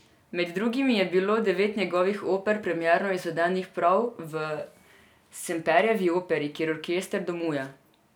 Med drugim je bilo devet njegovih oper premierno izvedenih prav v Semperjevi operi, kjer orkester domuje.